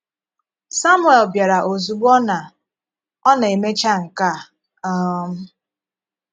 Samuel bịara ozúgbò ọ na - ọ na - emechá nke a um.